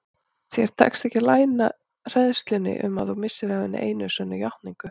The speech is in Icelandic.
Þér tekst ekki að leyna hræðslunni um að þú missir af hinni einu sönnu játningu.